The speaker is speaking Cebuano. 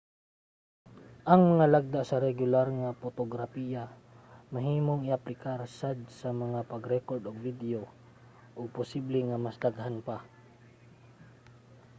ang mga lagda sa regular nga potograpiya mahimong i-aplikar sad sa pag-rekord og video ug posible sa mas daghan pa